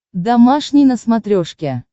домашний на смотрешке